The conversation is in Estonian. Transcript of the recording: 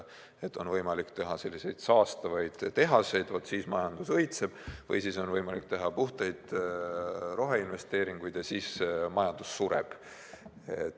Et on võimalik teha saastavaid tehaseid, siis majandus õitseb, või on võimalik teha puhtaid roheinvesteeringuid, siis majandus sureb.